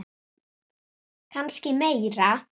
Kannski meira.